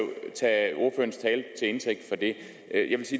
indtægt jeg det